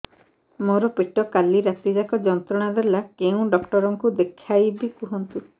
ମୋର ପେଟ କାଲି ରାତି ଯାକ ଯନ୍ତ୍ରଣା ଦେଲା କେଉଁ ଡକ୍ଟର ଙ୍କୁ ଦେଖାଇବି କୁହନ୍ତ